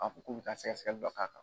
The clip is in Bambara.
A ko k'u bɛ ta sɛgɛsɛgɛli dɔ ka kan.